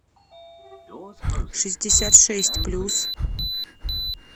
шестьдесят шесть плюс